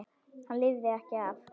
Hann lifði ekki af.